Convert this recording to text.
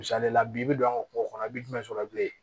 Misali la bi bi an ka kungo kɔnɔ i bi jumɛn sɔrɔ bilen